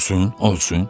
Olsun, olsun.